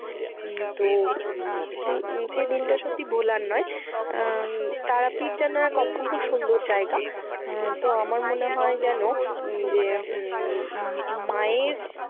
উম তো হম সেই দিনটা সত্যি ভোলার নয়। আহ তারাপীঠ যেনো এক অপূর্ব সুন্দর জায়গা। আহ তো আমার মনে হয় যেনো উম যে উম উম মায়ের